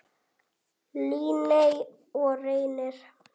Líney og Reynir.